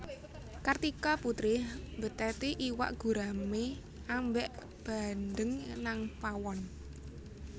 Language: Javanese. Kartika Putri mbetheti iwak gurame ambek bandeng nang pawon